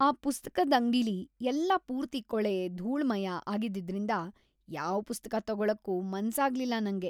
ಆ ಪುಸ್ತಕದ್ ಅಂಗ್ಡಿಲಿ ಎಲ್ಲ ಪೂರ್ತಿ ಕೊಳೆ, ಧೂಳ್‌ಮಯ ಆಗಿದ್ದಿದ್ರಿಂದ ಯಾವ್ ಪುಸ್ತಕ ತಗೊಳಕ್ಕೂ ಮನ್ಸಾಗ್ಲಿಲ್ಲ ನಂಗೆ.